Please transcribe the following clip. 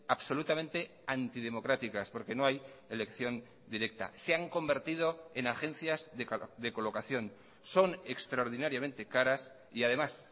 absolutamente antidemocráticas porque no hay elección directa se han convertido en agencias de colocación son extraordinariamente caras y además